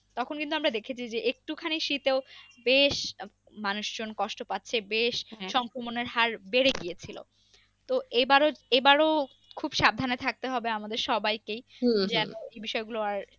তখন কিন্তু আমরা দেখেছি যে একটু খানি শীতেও বেশ মানুষ জন কষ্ট পাচ্ছে বেশ হার বেড়ে গিয়েছিলো তো এবারও এবারও খুব সাবধানে থাকতে হবে আমাদের সবাইকেই বিষয় গুলো আর,